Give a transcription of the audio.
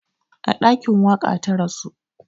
A ɗakin waƙa ta rasu